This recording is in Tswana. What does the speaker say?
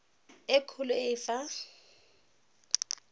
e kgolo e e fa